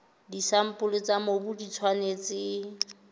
disampole tsa mobu di tshwanetse